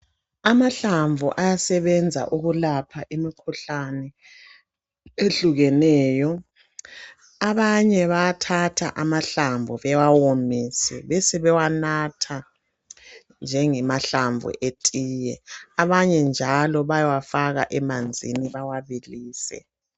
Amahlamvu ayasebenza ukulapha imikhuhlane ehlukeneyo abanye bayathatha amahlamvu bewawomise besebewanatha njengemahlamvu etiye, abanye njalo bayawafaka emanzini bawabilise.